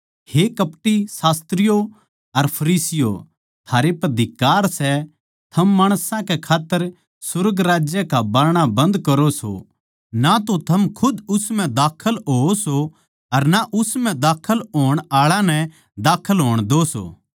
हे कपटी शास्त्रियो अर फरीसियों थारै पै धिक्कार सै थम माणसां कै खात्तर सुर्ग राज्य का बारणा बन्द करो सो ना तो थम खुद उस म्ह बड़ो सो अर ना उस म्ह बड़ण आळा ताहीं बड़ण द्यो सो